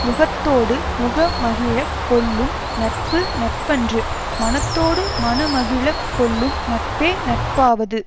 முகத்தோடு முகமகிழக் கொள்ளும் நட்பு நட்பன்று மனத்தோடு மனமகிழக் கொள்ளும் நட்பே நட்பாவது